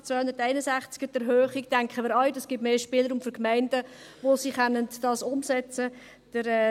Bei Artikel 261, betreffend die Erhöhung, denken wir, dass es den Gemeinden mehr Spielraum gibt, wo sie dies umsetzen können.